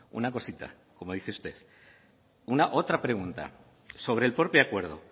una cosita como dice usted otra pregunta sobre el propio acuerdo